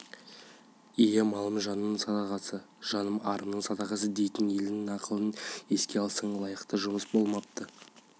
ие малым жаным садағасы жаным арым садағасы дейтін елдің нақылын еске алсаң лайықты жұмыс болмапты